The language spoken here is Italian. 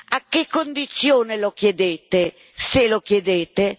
A che condizione lo chiedete, se lo chiedete?